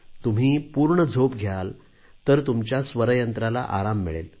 तुम्ही पूर्ण झोप घ्याल तर तुमच्या स्वर यंत्राला आराम मिळेल